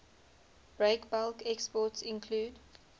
breakbulk exports include